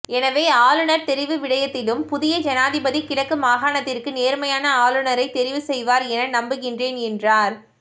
எனவே ஆளுநர் தெரிவு விடயத்திலும் புதிய ஜனாதிபதி கிழக்கு மாகாணத்திற்கு நேர்மையான ஆளுநரை தெரிவு செய்வார் என நம்புகின்றேன் என்றார்